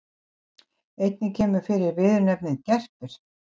Einnig kemur fyrir viðurnefnið gerpir.